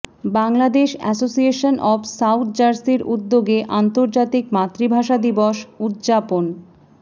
Bangladesh Association of South জার্সির উদ্যোগে আন্তর্জাতিক মাতৃভাষা দিবস উদযাপন